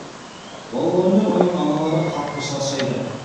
балалар мен оның аналары қатты шаршайды